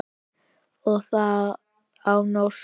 Og það á norsku.